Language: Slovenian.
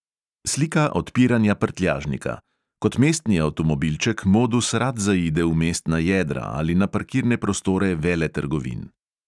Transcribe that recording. Slika odpiranja prtljažnika: kot mestni avtomobilček modus rad zaide v mestna jedra ali na parkirne prostore veletrgovin.